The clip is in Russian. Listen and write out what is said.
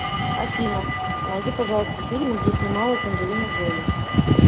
афина а найди пожалуйста фильмы где снималась анджелина джоли